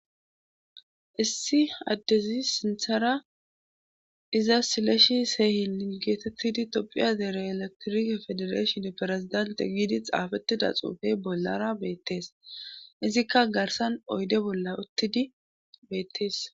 Issi addezi sinthara iza sileshi seehi lingetettidi topphiya deere eletorike federashon perezidante giidi xaafettida xuufey bollara beettees izikka garsan oyde bolla uttidi beettees.